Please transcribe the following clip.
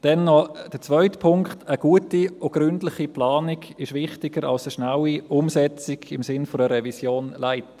Dann noch der zweite Punkt: Eine gute und gründliche Planung ist wichtiger als eine schnelle Umsetzung im Sinne einer «Revision Light».